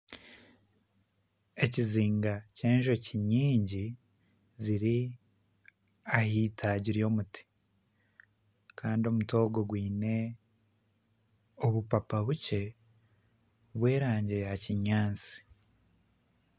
Ekizinga ky'enjoki nyingi kiri aha itaagi ry'omuti kandi omuti ogwo gwine obupapa bukye bw'erangi ya kinyaatsi